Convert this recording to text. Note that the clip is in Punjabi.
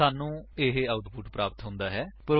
ਸਾਨੂੰ ਨਿਮਨ ਆਉਟਪੁਟ ਪ੍ਰਾਪਤ ਹੁੰਦਾ ਹੈ